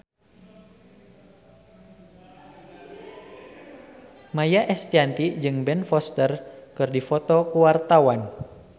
Maia Estianty jeung Ben Foster keur dipoto ku wartawan